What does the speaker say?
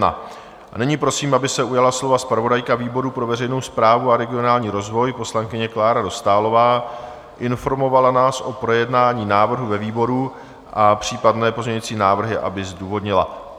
Nyní prosím, aby se ujala slova zpravodajka výboru pro veřejnou správu a regionální rozvoj, poslankyně Klára Dostálová, informovala nás o projednání návrhu ve výboru a případné pozměňující návrhy aby zdůvodnila.